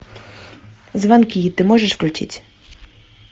звонки ты можешь включить